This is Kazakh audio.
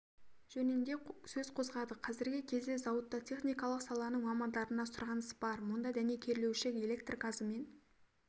жөнінде сөз қозғадық қазіргі кезде зауытта техникалық саланың мамандарына сұраныс бар мұнда дәнекерлеуші электр газымен